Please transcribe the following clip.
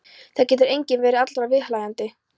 Það getur enginn verið allra viðhlæjandi.